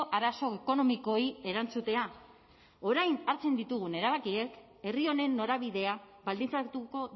arazo ekonomikoei erantzutea orain hartzen ditugun erabakiek herri honen norabidea baldintzatuko